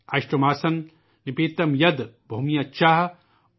اشٹو ماسان نپیت ید، بھومیا چا، اود